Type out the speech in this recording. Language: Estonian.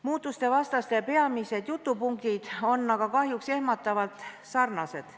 Muutuste vastaste peamised jutupunktid on aga kahjuks ehmatavalt sarnased.